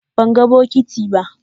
Ban gan bokiti ba.